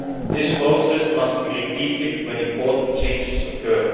This process must be repeated when important changes occur.